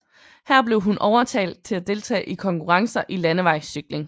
Her blev hun overtalt til at deltage i konkurrencer i landevejscykling